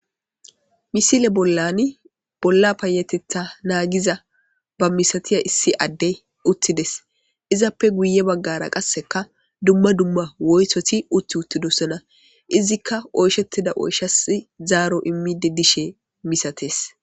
Misile bollan bolla payetetha naagiza ba misatiya issi addey uttides izappe guye baggara qasseka dumma dumma woytoti utti uttidossona izikka oyshettida oyshasi zaaro immide dishe misatees.